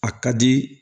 A ka di